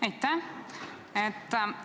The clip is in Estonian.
Aitäh!